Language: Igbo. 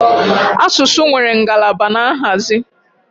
Asụsụ nwere ngalaba na nhazi